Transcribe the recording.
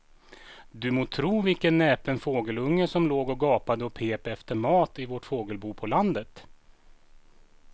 Du må tro vilken näpen fågelunge som låg och gapade och pep efter mat i vårt fågelbo på landet.